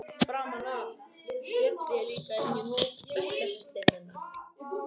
Framan af féll ég líka vel inn í hóp bekkjarsystkina minna.